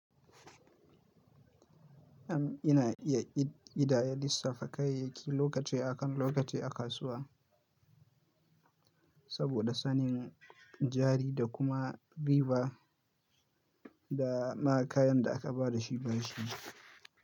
Am ina iya ƙidaya lissafa kayayyaki lokaci akan lokaci a kasuwa saboda sanin jari da kuma riba da na kayan da aka ba da shi ba shi.